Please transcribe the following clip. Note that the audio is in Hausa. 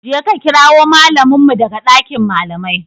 Je ka kirawo mallamin mu daga dakin malamai.